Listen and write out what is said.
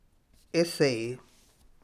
Eseji.